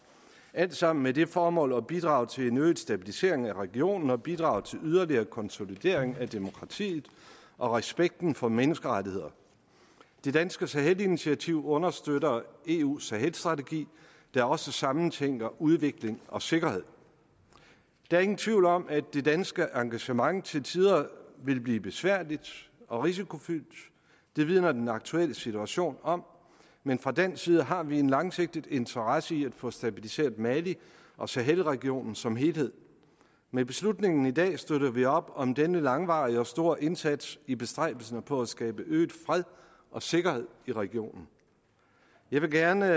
alt sammen med det formål at bidrage til en øget stabilisering af regionen og bidrage til yderligere konsolidering af demokratiet og respekten for menneskerettigheder det danske sahelinitiativ understøtter eus sahelstrategi der også sammentænker udvikling og sikkerhed der er ingen tvivl om at det danske engagement til tider vil blive besværligt og risikofyldt det vidner den aktuelle situation om men fra dansk side har vi en langsigtet interesse i at få stabiliseret mali og sahelregionen som helhed med beslutningen i dag støtter vi op om denne langvarige og store indsats i bestræbelserne på at skabe øget fred og sikkerhed i regionen jeg vil gerne